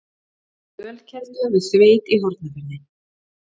Ölkelda við Þveit í Hornafirði